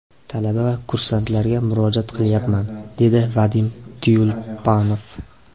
Talaba va kursantlarga murojaat qilyapman”, – dedi Vadim Tyulpanov.